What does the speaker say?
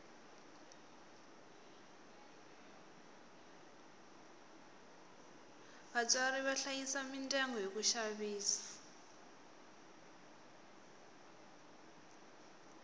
vatswari va hlayisa midyangu hi ku xavisa